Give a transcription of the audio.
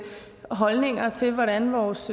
holdninger til hvordan vores